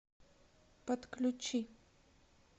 подключи